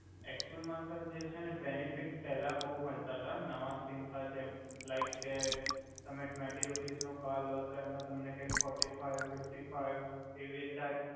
એકચુલમા જે સર છે ને બેનિફિટ પેલા બોવ મલતા તા નવા સિમ મા જેમ લાઈક કે તમે નવુ ટવેંટિ રુપિસ નુ કાર્ડ લો તો એમ તમને કાઇક ફોરટી ફાઈ